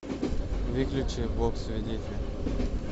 выключи бог свидетель